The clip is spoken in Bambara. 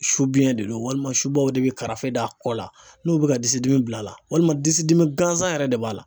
Subiyɛn de do walima subaw de bɛ karafɛ da a kɔ la n'u bɛ ka disidimi bila a la walima disidimi gansan yɛrɛ de b'a la